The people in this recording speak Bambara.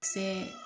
Kisɛ